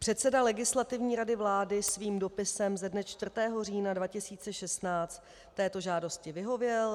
Předseda Legislativní rady vlády svým dopisem ze dne 4. října 2016 této žádosti vyhověl.